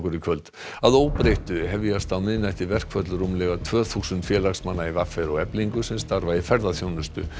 í kvöld að óbreyttu hefjast á miðnætti verkföll rúmlega tvö þúsund félagsmanna í v r og Eflingu sem starfa í ferðaþjónustu